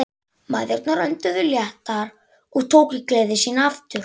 Mæðurnar önduðu léttar og tóku gleði sína aftur.